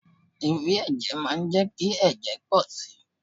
Ewé ẹ̀jẹ̀ má ń jẹ́ kí ẹ̀jẹ̀ pọ̀ si.